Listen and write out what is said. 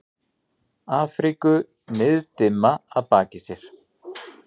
Afríku niðdimma að baki sér.